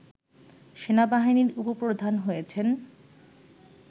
সেনাবাহিনীর উপ-প্রধান হয়েছেন